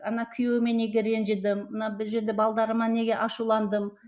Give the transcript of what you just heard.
ана күйеуіме неге ренжідім мына бір жерде балдарыма неге ашуландым